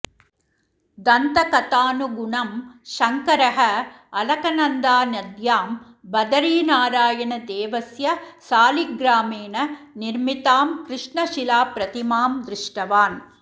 दन्तकथानुगुणं शङकरः अलकनन्दानद्यां बदरीनारायणदेवस्य सालिग्रामेण निर्मितां कृष्णशिलाप्रतिमां दृष्टवान्